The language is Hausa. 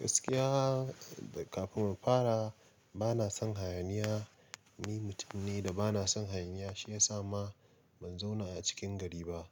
Gaskiya kafin mu fara, bana son hayaniya. Ni mutum ne da bana son hayaniya shiyasa ma ban zauna a cikin gari ba.